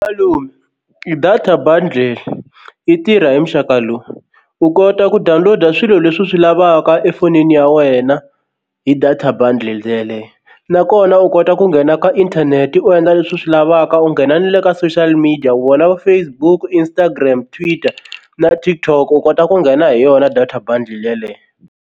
Malume i data bundle yi tirha hi muxaka lowu u kota ku download-a swilo leswi u swi lavaka efonini ya wena hi data bundle yeleyo nakona u kota ku nghena ka inthanete u endla leswi u swi lavaka u nghena ni le ka social media wona va Facebook, Instagram, Twitter na TikTok u kota ku nghena hi yona data bundle yaleyo.